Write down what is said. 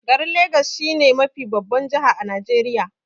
Garin legas shi ne mafi babban jihar a Najeriya.